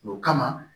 O kama